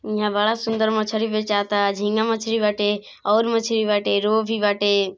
इहां बड़ा सुंदर मछली बेचाता झींगा मछली बेचाता और भी मछली बाटे रोह भी बाटे।